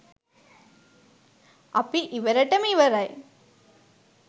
අපි ඉවරෙටම ඉවරයි.